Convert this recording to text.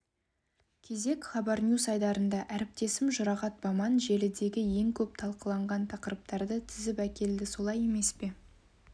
кезек хабарньюс айдарында әріптесім жұрағат баман желідегі ең көп талқыланған тақырыптарды тізіп әкелді солай емес пе